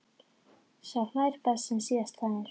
Sá hlær best sem síðast hlær!